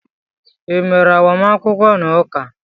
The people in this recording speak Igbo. I mere agbamakwụkwọ n'ụka?